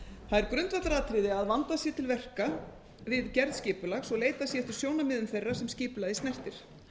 er grundvallaratriði að vandað sé til verka við gerð skipulags og leitað sé eftir sjónarmiðum þeirra sem skipulagið snertir